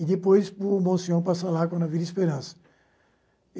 e depois o passa lá com a Vila Esperança.